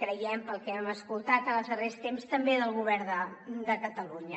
creiem pel que hem escoltat en els darrers temps també del govern de catalunya